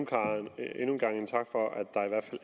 en gang tak for at der i hvert